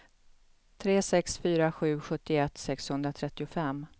tre sex fyra sju sjuttioett sexhundratrettiofem